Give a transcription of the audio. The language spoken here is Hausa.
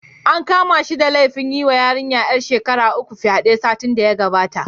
An kama shi da laifin yiwa yarinya ƴar shekara sha uku fyaɗe, satin da ya wuce.